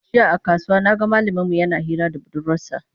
Jiya a kasuwa na ga malaminmu yana hira da budurwarsa.